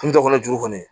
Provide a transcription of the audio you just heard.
Kun dɔ kɔnɔ juru kɔni